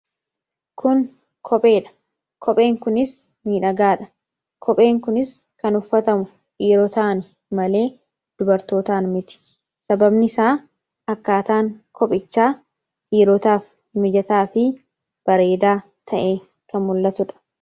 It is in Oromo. Kun kopheedha. Kopheen kunis miidhagaadha kopheen kunis kan uffatamu dhiirotaan malee dubartootaan miti sababni isaa akkaataan kophichaa dhiirotaaf mijataa fi bareedaa ta'e kan mul'atuudha.